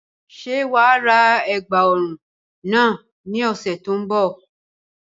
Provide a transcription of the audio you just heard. Ṣé wàá ra ègbà ọrùn náà ní ọ̀sẹ̀ tí ó ń bọ̀